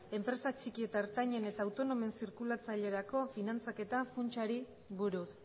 enpresa txiki eta ertainen eta autonomoen zirkulatzailerako finantzaketa funtsari buruz